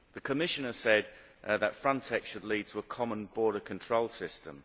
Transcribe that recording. The Commissioner said that Frontex should lead to a common border control system.